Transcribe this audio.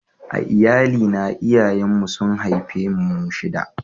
A Iyalli na, iyayen mu su'n haife mu shida.